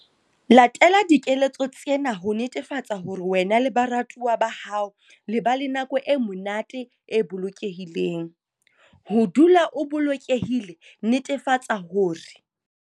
Latela dikeletso tsena ho netefatsa hore wena le baratuwa ba hao le ba le nako e monate, e bolokehileng. Ho dula o bolokehile, netefatsa hore.